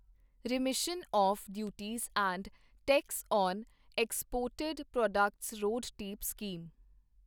remission of duties and tax on exported products RoDTEP scheme